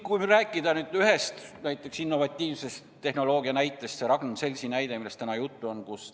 Kui rääkida nüüd innovatiivsest tehnoloogiast, siis täna oli juba juttu Ragn-Sellsi näitest.